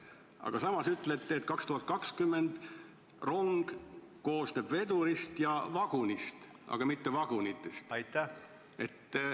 Aga samas ütlete 2020. aastal, et rong koosneb vedurist ja vagunist, aga mitte vagunitest.